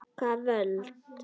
Hvaða völd?